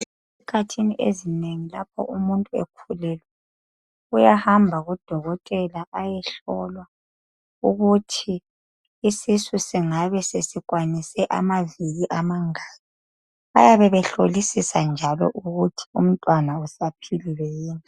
Ezikhathini ezinengi lapho umuntu ekhululelwe uyahamba kudokotela ayehlolwa ukuthi isisu singabe sesikwanise amaviki amangaki bayabe behlolisisa njalo ukuthi umntwana usaphilile yini